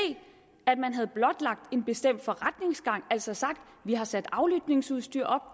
at man havde blotlagt en bestemt forretningsgang altså sagt vi har sat aflytningsudstyr